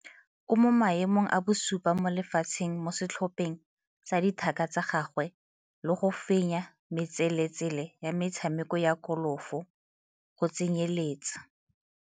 O mo maemong a bosupa mo lefatsheng mo setlhopheng sa dithaka tsa gagwe le go fenya metseletsele ya metshameko ya kolofo go tsenyeletsa.